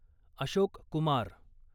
Ashok Kumar